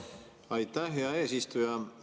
Aitäh, hea eesistuja!